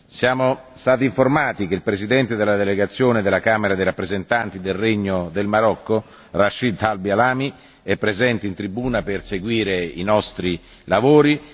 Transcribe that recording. Siamo stati informati che il Presidente della delegazione della Camera dei rappresentanti del Regno del Marocco, Rachid Talbi El Alami, è presente in tribuna per seguire i nostri lavori.